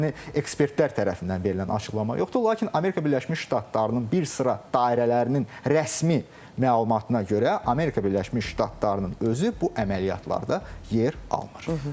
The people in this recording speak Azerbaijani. Yəni ekspertlər tərəfindən verilən açıqlama yoxdur, lakin Amerika Birləşmiş Ştatlarının bir sıra dairələrinin rəsmi məlumatına görə Amerika Birləşmiş Ştatlarının özü bu əməliyyatlarda yer almır.